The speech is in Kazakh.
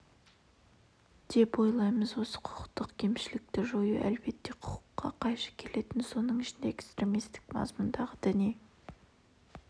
деп ойлаймыз осы құқықтық кемшілікті жою әлбетте құқыққа қайшы келетін соның ішінде экстремистік мазмұндағы діни